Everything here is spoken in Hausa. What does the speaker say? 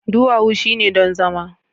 duwawu shine don zama